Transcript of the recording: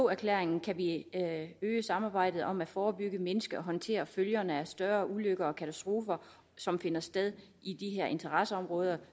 erklæringen kan vi øge samarbejdet om at forebygge mindske og håndtere følgerne af større ulykker og katastrofer som finder sted i de her interesseområder